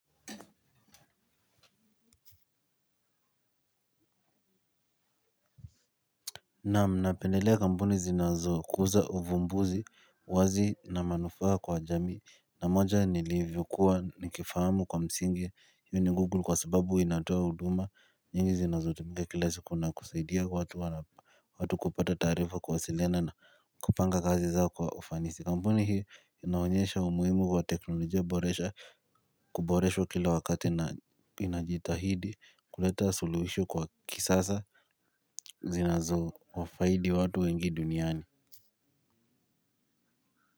Nam napendelea kampuni zinazo kuza uvumbuzi wazi na manufaa kwa jamii na moja nilivyokuwa nikifahamu kwa msingi hiyo ni google kwa sababu inatoa huduma nyingi zinazo tumika kila siku na kusaidia watu. Watu kupata taarifa kuwasiliana na kupanga kazi zao kwa ufanisi kampuni hi inaonyesha umuhimu kwa teknolojia boresha kuboresho kila wakati na inajitahidi kuleta suluhisho kwa kisasa. Zina zo wafaidi watu wengi duniani.